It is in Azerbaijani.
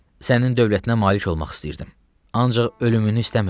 Sənin dövlətinə malik olmaq istəyirdim, ancaq ölümünü istəmirdim.